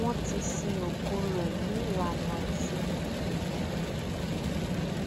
wọn ti sin òkú rẹ ní ìlànà ẹsìn mùsùlùmí